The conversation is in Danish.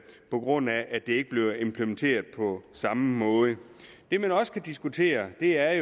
på grund af at det ikke bliver implementeret på samme måde det man også kan diskutere er